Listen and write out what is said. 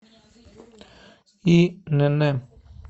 инн